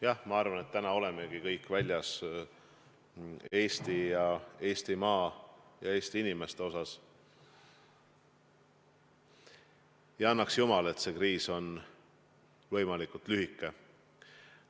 Jah, ma arvan, et täna olemegi kõik väljas Eestimaa ja Eesti inimeste eest, ja annaks jumal, et see kriis oleks võimalikult lühike.